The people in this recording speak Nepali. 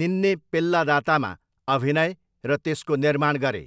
निन्ने पेल्लादातामा अभिनय र त्यसको निर्माण गरे।